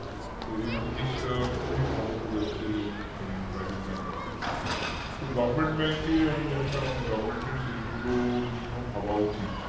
তো এই জিনিসটা খুবই ভালো করেছে মানে private bank র ক্ষেত্রে তো government bank এ আমি জানিনা অনেক government র এর সেইগুলো নিয়েও ভাবা উচিত